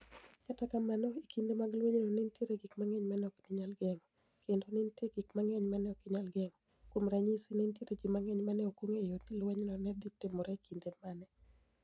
Kata kamano, e kinide mag lweniyno, ni e niitie gik manig'eniy ma ni e ok niyal genig'o, kenido ni e niitie gik manig'eniy ma ni e ok niyal genig'o. Kuom raniyisi, ni e niitie ji manig'eniy ma ni e ok onig'eyo nii lweniyno ni e dhi timore e kinide mani e.